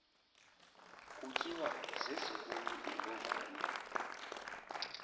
kutyiwa zezinkulu iimbovane